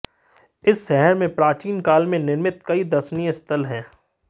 इस शहर में प्राचीन काल में निर्मित कई दर्शनीय स्थल है